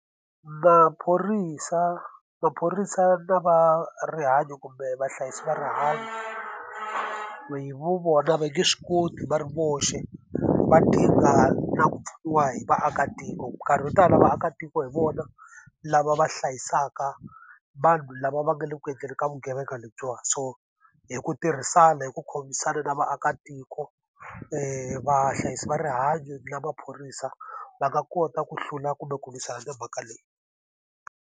Maphorisa maphorisa na va rihanyo kumbe vahlayisi va rihanyo hi vu vona va nge swi koti va ri voxe, va na ku pfuniwa hi vaakatiko. Minkarhi wo tala vaakatiko hi vona lava va hlayisaka vanhu lava va nga le ku endleni ka vugevenga lebyiwani. So hi ku tirhisana, hi ku khomisana na vaakatiko, vahlayisi va rihanyo na maphorisa va nga kota ku hlula kumbe ku lwisana na mhaka leyi.